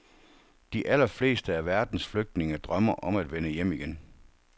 De allerfleste af verdens flygtninge drømmer om at vende hjem igen.